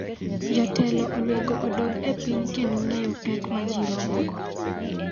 Jotelo onego odog e piny kendo ng'eyo pek ma ji romogo.